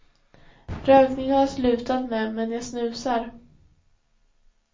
Rökning har jag slutat med, men jag snusar.